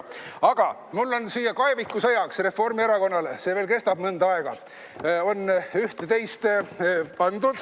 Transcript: Aga mul on Reformierakonnale siia kaevikusõjaks – see veel kestab mõnda aega – üht-teist pandud.